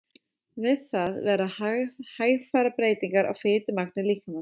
Við það verða hægfara breytingar á fitumagni líkamans.